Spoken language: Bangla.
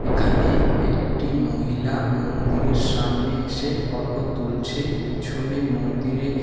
এখানে একটি মহিলা মন্দিরের সামনে এসে ফটো তুলছে পিছনে মন্দিরে--